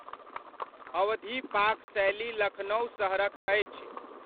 अवधी पाक शैली लखनउ सहरक अछि।